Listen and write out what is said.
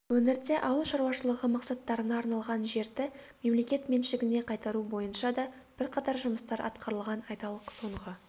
өңірде ауыл шаруашылығы мақсаттарына арналған жерді мемлекет меншігіне қайтару бойынша да бірқатар жұмыстар атқарылған айталық соңғы